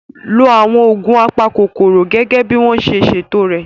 Lo àwọn oògùn apakòkòrò gẹ́gẹ́ bí wọ́n ṣe ṣètò rẹ̀